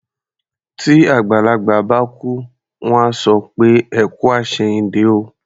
Tí àgbàlagbà bá kú, wọ́n á sọ pé "ẹ kú àṣẹ̀yìndé o".